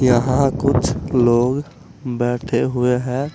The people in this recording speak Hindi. यहां कुछ लोग बैठे हुए हैं।